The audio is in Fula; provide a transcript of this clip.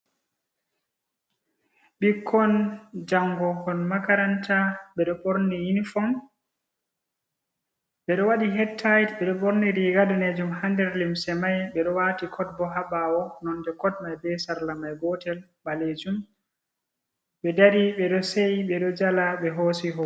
Ɓikkon jango kon makaranta ɓe ɗo ɓorni yunifom. Ɓe ɗo waɗi het tayid. Ɓeɗo ɓorni riga ɗanejum ha nɗer limse mai. Ɓe ɗo wati kot ɓo ha ɓawo. Nonɗe kot mai ɓe sarla mai gotel ɓalejum. Ɓe ɗari, ɓeɗo seyi, ɓe ɗo jala, ɓe hosi hoto.